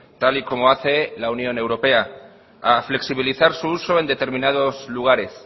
tal y como hace la unión europea a flexibilizar su uso en determinados lugares